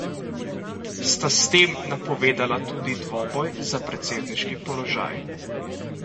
Sta s tem napovedala tudi dvoboj za predsedniški položaj?